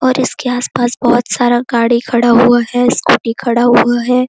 और इसके आसपास बहुत सारा गाड़ी खड़ा हुआ है स्कूटी खड़ा हुआ है।